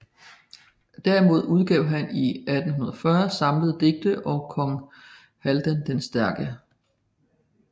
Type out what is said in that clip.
Derimod udgav han i 1840 Samlede Digte og Kong Haldan den stærke